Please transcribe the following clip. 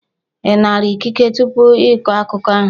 Ị nara ikike tupu ị kọọ akụkọ ahụ?